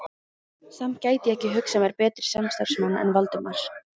Samt gæti ég ekki hugsað mér betri samstarfsmann en Valdimar